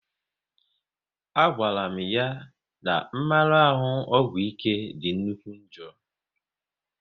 A gwara m ya n'mmarahu ọgwụ ike dị nnukwu njọ